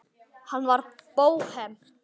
Hann var bóhem.